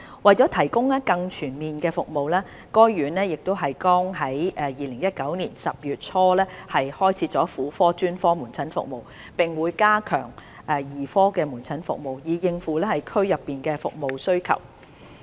為了提供更全面的服務，該院剛於2019年10月初開設婦科專科門診服務，並會加強兒科門診服務，以應付區內服務需求。